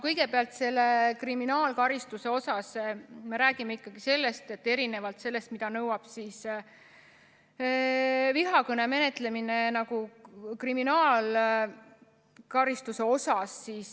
Kõigepealt, kriminaalkaristusest räägime ikkagi siis, kui vihakõne menetletakse karistusseadustiku alusel.